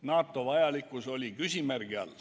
NATO vajalikkus oli küsimärgi all.